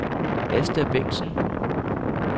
Asta Bengtsen